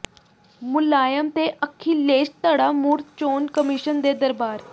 ਮੁਲਾਇਮ ਤੇ ਅਖਿਲੇਸ਼ ਧੜਾ ਮੁੜ ਚੋਣ ਕਮਿਸ਼ਨ ਦੇ ਦਰਬਾਰ